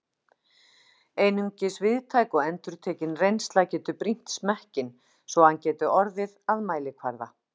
Einungis víðtæk og endurtekin reynsla getur brýnt smekkinn, svo að hann geti orðið að mælikvarða.